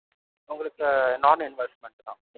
உங்களுக்கு non investment தான்.